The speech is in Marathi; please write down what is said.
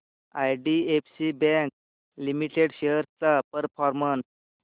आयडीएफसी बँक लिमिटेड शेअर्स चा परफॉर्मन्स